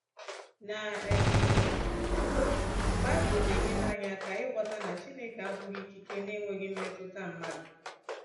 Na um mbụ, baịbụl na-enyere anyị aka ịghọta na Chineke abụghị ikike na-enweghị mmetụta mmadụ.